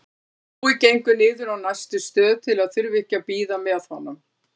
Brói gengur niður á næstu stöð til að þurfa ekki að bíða með honum.